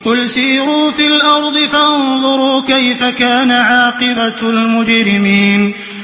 قُلْ سِيرُوا فِي الْأَرْضِ فَانظُرُوا كَيْفَ كَانَ عَاقِبَةُ الْمُجْرِمِينَ